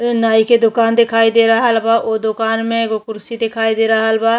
ये नाइ की दुकान दिखाई दे रहल बा उ दुकान में एगो कुर्सी दिखाई दे रहल बा।